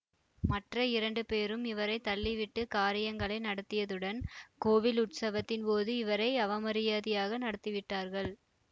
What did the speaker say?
மற்ற இரண்டு பேரும் இவரை தள்ளிவிட்டு காரியங்களை நடத்தியதுடன் கோவில் உற்சவத்தின் போது இவரை அவமரியாதையாக நடத்தி விட்டார்கள்